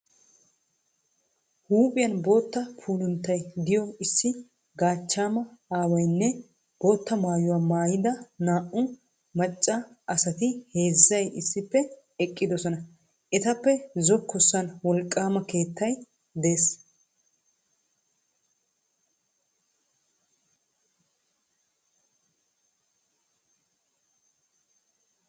Huuphphiyan bootta pulunttay de'iyo issi gachchama aawaynne bootta maayyuwaa maayyida naa'u macca asatti heezay issippe eqidosonna. Etappe zokossan wolqqama keettay de'es.